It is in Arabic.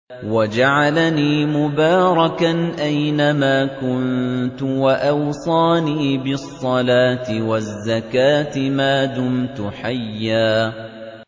وَجَعَلَنِي مُبَارَكًا أَيْنَ مَا كُنتُ وَأَوْصَانِي بِالصَّلَاةِ وَالزَّكَاةِ مَا دُمْتُ حَيًّا